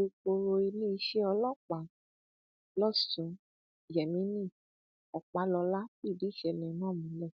alūkkóró iléeṣẹ ọlọpàá lọsùn yemini ọpàlọlá fìdí ìṣẹlẹ náà múlẹ